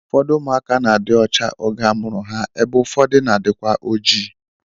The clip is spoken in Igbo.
Ụfọdụ ụmụaka na-adị ọcha oge a mụrụ ha ebe ụfọdụ na-adịkwa oji